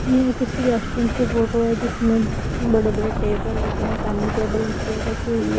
यह किसी रेस्टोरेंट की फोटो है जिसमें बड़े-बड़े टेबल लगें हैं सामने टेबल और चेयर रखी हुई है।